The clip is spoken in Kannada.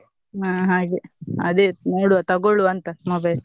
ಹ್ಮ್‌ ಹಾಗೆ ಅದೇ ನೋಡುವಾ ತಗೊಳ್ಳುವಾ ಅಂತಾ mobile .